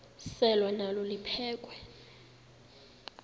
selwa nalo liphekhwe